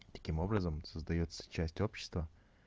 таким образом создаётся часть общества